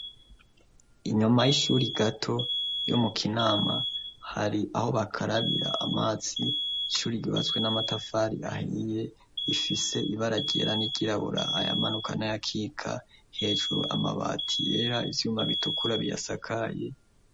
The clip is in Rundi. Inyuma y'ishuri gato yo mu kinama, hari aho bakarabira amazi, ishuri ryubatswe n'amatafari ahiye rifise ibara ryera n'iryirabura, ayamanuka n'ayakika, hejuru amabati yera, ivyuma bitukura biyasakaye.